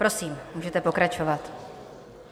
Prosím, můžete pokračovat.